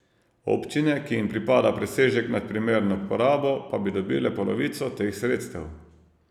Občine, ki jim pripada presežek nad primerno porabo, pa bi dobile polovico teh sredstev.